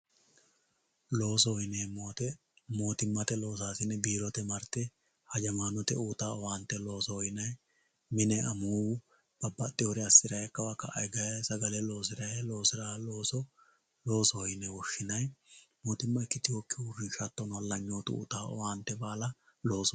Loosoho yinemowoyite motimate losasine biirote marte hajamaonte uyitawo owante loosoho yinayi mine amuuwu babaxewore asiray kawa ka`a higayi sagale losiray losirawo looso yine woshinayi mootima ikitewoki uurinsha uyitawo owante baala looso yine woshinayi